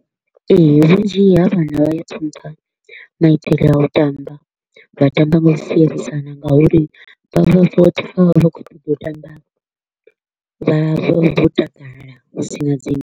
Ee, vhunzhi ha vhana vha ya ṱhonifha maitele a u tamba, vha tamba nga u sielisana nga uri vha vha vha vha kho u ṱoḓa u tamba vha vha vho takala hu si na dzinndwa.